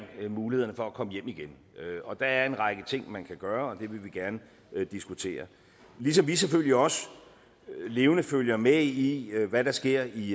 mulighederne for at komme hjem igen der er en række ting man kan gøre og det vil vi gerne diskutere ligesom vi selvfølgelig også levende følger med i hvad der sker i